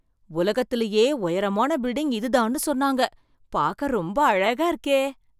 உலகத்துலயே உயரமான பில்டிங் இது தான்னு சொன்னாங்க. பார்க்க ரொம்ப அழகா இருக்கே!